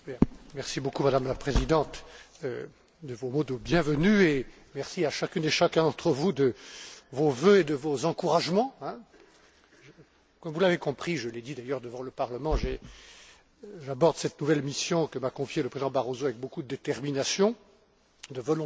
Madame la Présidente, merci de vos mots de bienvenue, et merci à chacune et à chacun d'entre vous de vos vœux et de vos encouragements. Comme vous l'avez compris je l'ai dit d'ailleurs devant le Parlement j'aborde cette nouvelle mission que m'a confiée le président Barroso avec beaucoup de détermination et de volontarisme.